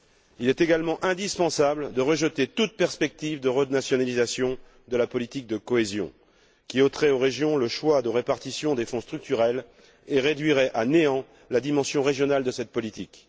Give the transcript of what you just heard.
Il est également indispensable de rejeter toute perspective de renationalisation de la politique de cohésion, qui ôterait aux régions le choix de la répartition des Fonds structurels et réduirait à néant la dimension régionale de cette politique.